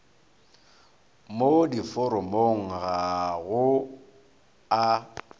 mo diforomong ga go a